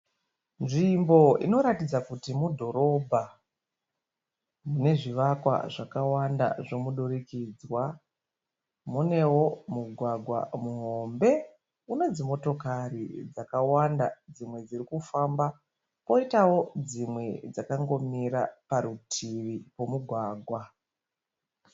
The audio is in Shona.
Nzvimbo inoratidza kuti mudhorobha, nezvivakwa zvawanda dzemudurikidzwa. Munwewo mugwagwa muhombe nedzimotokari dzakawanda dzimwe zvirikufamba, poitawo dzimwe dzakangomira parutivi pemugwagwa.